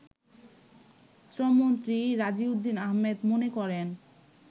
শ্রমমন্ত্রী রাজিউদ্দিন আহমেদ মনে করেন